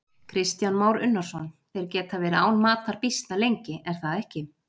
Kristján Már Unnarsson: Þeir geta verið án matar býsna lengi, er það ekki?